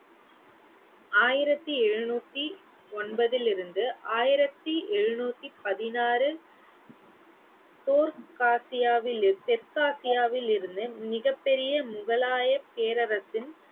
ஆயிரத்தி எழுநூத்தி ஒன்பதிலிருந்து ஆயிரத்தி எழுநூத்தி பதினாறு காசியாவில் தெற்காசியாவிலிருந்து மிகப் பெரிய முகலாய பேரரசின்